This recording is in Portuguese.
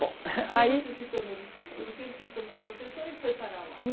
Bom, aí... Aí você se tornou, desculpe, por que você se tornou professora e foi para lá? Em